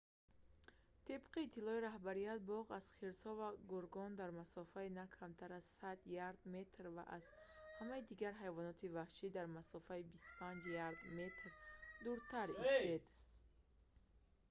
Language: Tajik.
тибқи иттилои роҳбарияти боғ аз хирсҳо ва гургон дар масофаи на камтар аз 100 ярд/метр ва аз ҳамаи дигар ҳайвоноти ваҳшӣ дар масофаи 25 ярд/метр дуртар истед!